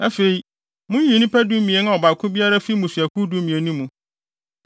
Afei, munyiyi nnipa dumien a ɔbaako biara fi mmusuakuw dumien no mu.